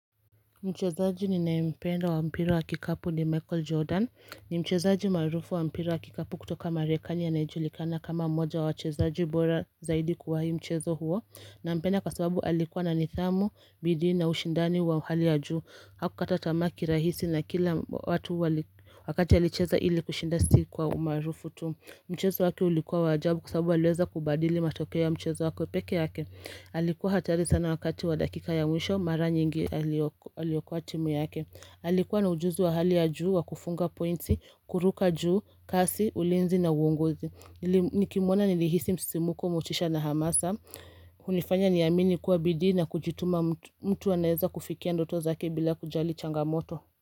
Mchezaji ni naempenda wa mpira wa kikapu ni Michael Jordan ni mchezaji maarufu wa mpira wa kikapu kutoka marekani anyejulikana kama mmoja wa wachezaji bora zaidi kwa hii mchezo huo na mpenda kwasababu alikuwa na nithamu, bidii na ushindani wa uhali ya juu Hakukata tamaa ki rahisi na kila watu wakati alicheza ili kushinda sii kwa umaarufu tu Mchezo wake ulikuwa wa ajabu kwa sababu aliweza kubadili matokeo ya mchezo wako pekee yake Alikuwa hatari sana wakati wa dakika ya mwisho mara nyingi alioku aliyokua timu yake Alikuwa na ujuzi wa hali ya juu wa kufunga pointsi, kuruka juu, kasi, ulinzi na uongozi nilim Nikimwona nilihisi msimuko, muchisha na hamasa hunifanya niamini kuwa bidii na kujituma mtu mtu anaeza kufikia ndoto zake bila kujali changamoto.